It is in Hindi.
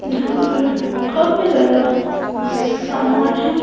जहां पर काफी ज्यादा सामना है।